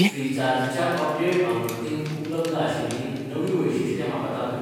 Recharge च्या update आवृत्तींत उपलब्ध आशिल्लीं नवीं वैशिश्ट्यां म्हाका दाखय!